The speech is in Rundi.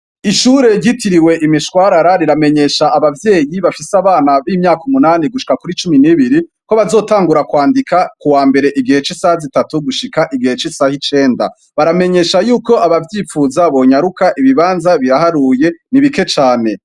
Ishure yitiriwe imishwarara riramenyesha abavyeyi bafise abana b'imyaka umunani gushika kuri cumi n'ibiri ko bazotangura kwandika ku wa mbere igihe c'isaha zitatu gushika igihe c'isaha icenda baramenyesha yuko abavyipfuza bonyaruka ibibanza bihaharuye nibike came.